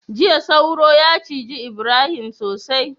jiya sauro ya ciji Ibrahim sosai